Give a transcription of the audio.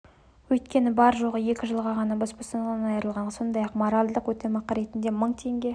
өйткені бар жоғы екі жылға ғана бас бостандығынан айырылған сондай-ақ моральдық өтемақы ретінде мың теңге